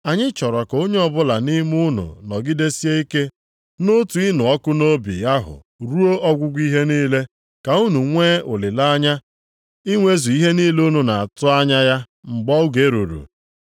Anyị chọrọ ka onye ọbụla nʼime unu nọgidesie ike nʼotu ịnụ ọkụ nʼobi ahụ ruo ọgwụgwụ ihe niile, ka unu nwee olileanya inwezu ihe niile unu na-atụ anya ya mgbe oge ruru.